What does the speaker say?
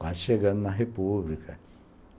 Quase chegando na República...